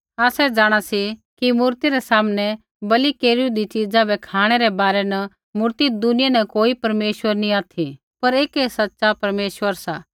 आसै जाँणा सी कि मूर्ति रै सामनै बलि केरूईदी च़ीजा बै खाँणै रै बारै न मूर्ति दुनिया न कोई परमेश्वर नैंई ऑथि पर ऐकै सच़ा परमेश्वरा सा